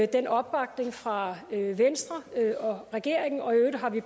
den opbakning fra venstre og regeringen og i øvrigt har vi